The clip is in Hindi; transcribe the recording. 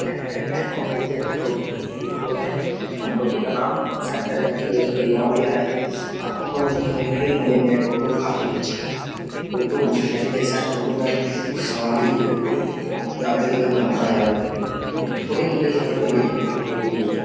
सेंट्रल बैंक ऑफ इंडिया का टो टोटो है। टोटो का नाम सेंट्रल बैंक से मेरे से जो लोन लिया है टोटो में लेकिन एक फिर मिलेंगे टोटो काफी अच्छा है। टोटो मोटरसाइकिल जैसा है टोटो में सवारी यात्रीगण अपना यात छोटे-मोटी सफर के लिए टोटो यूज करते --